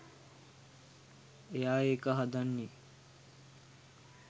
එයා ඒක හදන්නේ